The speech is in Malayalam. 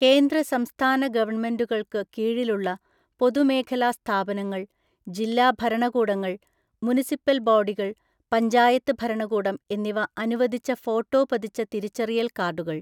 കേന്ദ്ര സംസ്ഥാന ഗവണ്മെന്റുകള്‍ക്ക് കീഴിലുള്ള പൊതുമേഖലാ സ്ഥാപനങ്ങള്‍, ജില്ലാ ഭരണകൂടങ്ങള്‍, മുനിസിപ്പല്‍ ബോഡികള്‍ പഞ്ചായത്ത് ഭരണകൂടം എന്നിവ അനുവദിച്ച ഫോട്ടോ പതിച്ച തിരിച്ചറിയല്‍ കാർഡുകള്‍